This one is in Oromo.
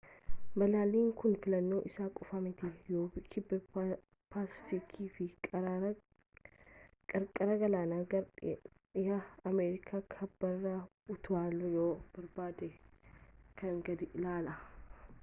balalliin kun filannoo isa qofaamiti yoo kibba paasifiikii fi qarqara galaanaa gara dhihaa ameerikaa kibbaarra utaaluu yoo barbaadde. kan gadii ilaali